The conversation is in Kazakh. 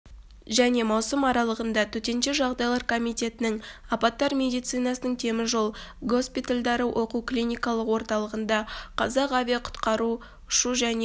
және маусым аралығында төтенше жағдайлар комитетінің апаттар медицинасының теміржол госпитальдарі оқу-клиникалық орталығында қазақ авиақұтқару ұшу және